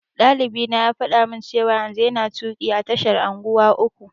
Ɗalibina ya faɗa min cewa yanzu yana tuƙi a tashar unguwa uku.